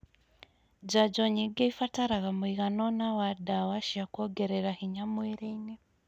Njanjo nyingĩ ĩbataraga mũigana ũna wa ndawa cia kuongerera hinya mwĩrĩ-inĩ